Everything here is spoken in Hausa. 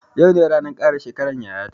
Yau ne ranan kara shekaran yaya ta